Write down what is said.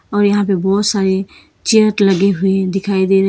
और यहां पे बहुत सारे चेयर लगे हुए दिखाई दे रहे है।